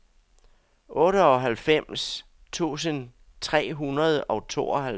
otteoghalvfems tusind tre hundrede og tooghalvtreds